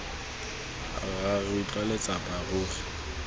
rra re utlwa letsapa ruri